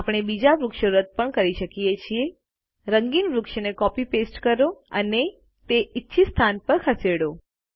આપણે બીજા વૃક્ષો રદ પણ કરી શકીએ છીએ રંગીન વૃક્ષને કોપી પેસ્ટ કરો અને તે ઇચ્છિત સ્થાન પર ખસેડો